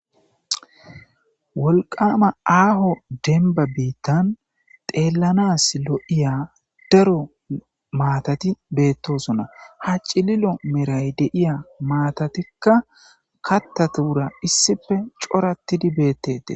Woliqama aaho denba biittan xeellanas lo'iya daro maatati beettosona ha cililo meray de iya maatatikka kattatuura issife coorattidi beettete